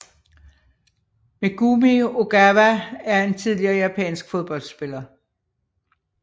Megumi Ogawa er en tidligere japansk fodboldspiller